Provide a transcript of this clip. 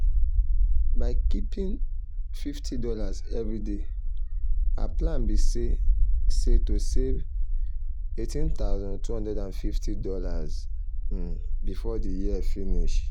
um by keeping fifty dollars every day um her plan be say say to save $18250 um before the year finish.